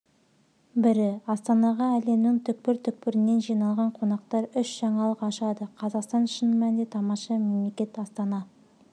бірі астанаға әлемнің түкір-түкпірінен жиналған қонақтар үш жаңалық ашады қазақстан шын мәнінде тамаша мемлекет астана